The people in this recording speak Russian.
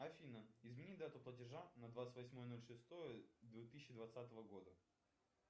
афина измени дату платежа на двадцать восьмое ноль шестое две тысячи двадцатого года